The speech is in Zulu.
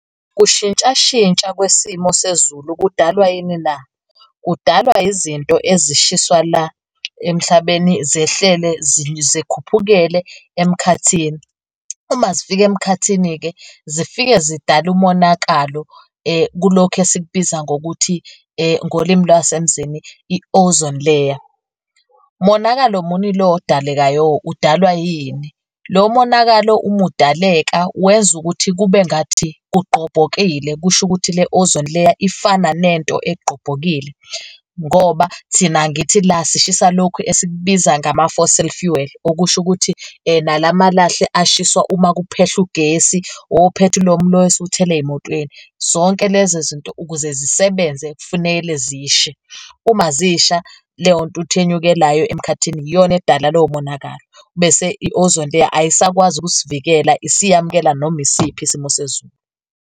Ukushintshashintsha kwesimo sezulu kudalwa yini na? Kudalwa izinto ezishiswa la emhlabeni zehlele zikhuphukiee emkhathini. Uma zifika emkhathini-ke zifike zidale umonakalo kulokhu esikubiza ngokuthi ngolimi lwasemzini i-ozone layer. Monakalo muni lo odalekayo, udalwa yini? Lo monakalo uma udaleka wenza ukuthi kube ngathi kugqobhokile kusho ukuthi le ozone layer ifana nento egqobhokile ngoba thina angithi la sishisa lokhu esikubiza ngama-fossil fuel, okusho ukuthi nalamalahle ashiswa uma kuphelwa ugesi ophethulomu lo esiwuthela ezimotweni. Zonke lezo zinto ukuze zisebenze, kufanele zishe. Uma zisha, leyo ntuthu enyukelayo emkhathini iyona edala lowo monakalo, bese i-ozone layer ayisakwazi ukusivikela, isiyamukela noma isiphi isimo sezulu.